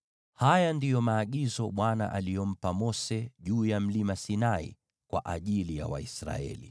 Haya ndiyo maagizo Bwana aliyompa Mose juu ya Mlima Sinai kwa ajili ya Waisraeli.